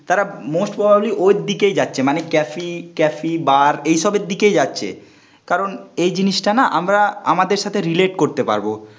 তারা most probably ওর দিকেই যাচ্ছে, মানে ক্যাফি, ক্যাফি, বার এইসবের দিকেই যাচ্ছে. কারণ এই জিনিসটা না আমরা আমাদের সাথে রিলেট করতে পারবো